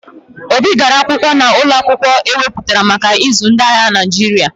Obi gara akwụkwọ n'ụlọ akwụkwọ e weputara maka ịzụ ndị agha Naịjirịa.